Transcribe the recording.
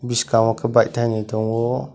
bwskango khe bike tainwi tango.